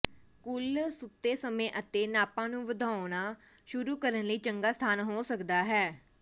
ਕੁੱਲ ਸੁੱਤੇ ਸਮੇਂ ਅਤੇ ਨਾਪਾਂ ਨੂੰ ਵਧਾਉਣਾ ਸ਼ੁਰੂ ਕਰਨ ਲਈ ਚੰਗਾ ਸਥਾਨ ਹੋ ਸਕਦਾ ਹੈ